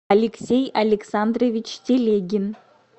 алексей александрович телегин